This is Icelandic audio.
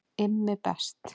IMMI BEST